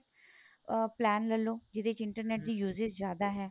ਅਹ plan ਲੈਲੋ ਜਿਹਦੇ ਚ internet ਦੀ usage ਜਿਆਦਾ ਹੈ